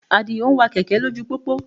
Àdìó ń wa kẹ̀kẹ́ lójú pópó